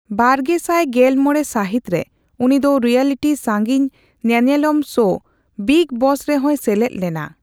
ᱵᱟᱨᱜᱮᱥᱟᱭ ᱜᱮᱞ ᱢᱚᱲᱮ ᱥᱟᱹᱦᱤᱛ ᱨᱮ ᱩᱱᱤ ᱫᱚ ᱨᱤᱭᱟᱞᱤᱴᱤ ᱥᱟᱺᱜᱤᱧ ᱧᱮᱱᱮᱞᱚᱢ ᱥᱳ ᱵᱤᱜᱽ ᱵᱚᱥ ᱨᱮᱦᱚᱸᱭ ᱥᱮᱞᱮᱫ ᱞᱮᱱᱟ ᱾